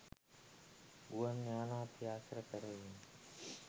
ගුවන් යානා පියාසර කරවීම